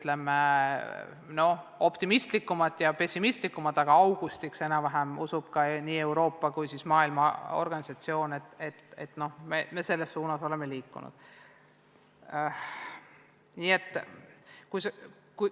On optimistlikumaid ja pessimistlikumaid hinnanguid, aga nii Euroopa kui ka Maailma Terviseorganisatsioon usub, et enam-vähem augustiks oleme me selles suunas liikunud.